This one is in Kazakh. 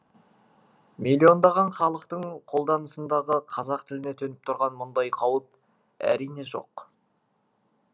миллиондаған халықтың қолданысындағы қазақ тіліне төніп тұрған мұндай қауіп әрине жоқ